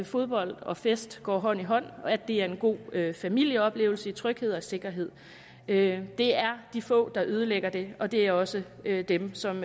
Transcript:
fodbold og fest går hånd i hånd at det er en god familieoplevelse i tryghed og sikkerhed det er de få der ødelægger det og det er også dem som